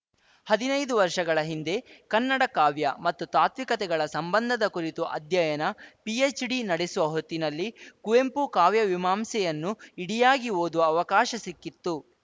ಹದಿನೈದು ವರ್ಷಗಳ ಹಿಂದೆ ಕನ್ನಡ ಕಾವ್ಯ ಮತ್ತು ತಾತ್ವಿಕತೆಗಳ ಸಂಬಂಧದ ಕುರಿತು ಅಧ್ಯಯನ ಪಿಎಚ್‌ಡಿ ನಡೆಸುವ ಹೊತ್ತಿನಲ್ಲಿ ಕುವೆಂಪು ಕಾವ್ಯವಿಮಾಂಸೆಯನ್ನು ಇಡಿಯಾಗಿ ಓದುವ ಅವಕಾಶ ಸಿಕ್ಕಿತು